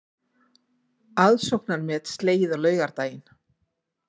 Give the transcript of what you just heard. Aðsóknarmet slegið á laugardaginn